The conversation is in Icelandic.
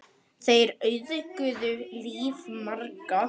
Þeir auðguðu líf margra.